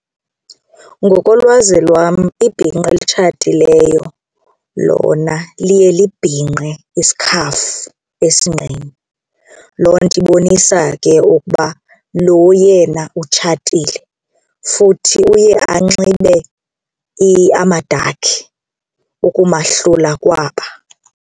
Ngokolwazi lwam ibhinqa elitshatileyo lona liye libhinqe isikhafu esinqeni. Loo nto ibonisa ke ukuba lo yena utshatile futhi uye anxibe amadakhi ukumahlula kwaba.